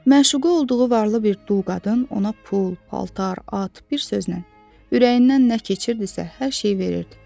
Məşuqə olduğu varlı bir dul qadın ona pul, paltar, at, bir sözlə, ürəyindən nə keçirdisə, hər şeyi verirdi.